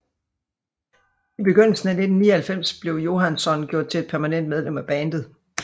I begyndelsen af 1999 blev Johansson gjort til et permanent medlem af bandet